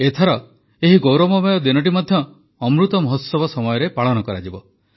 ଏଥର ଏହି ଗୌରବମୟ ଦିନଟି ମଧ୍ୟ ଅମୃତ ମହୋତ୍ସବ ସମୟରେ ପାଳିତ ହେବ